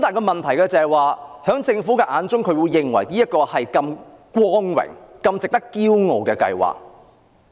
問題是在政府眼中，這是一項很光榮和值得驕傲的計劃。